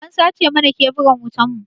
An sace mana keburan wutan mu.